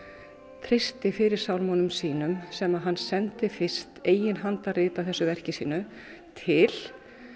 treysti fyrir sínum sem að hann sendi fyrst eiginhandarrit af þessu verki sínu til